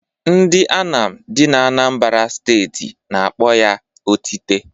Ndị Anam dị n'Anambara steeti n'akpọ ya otite.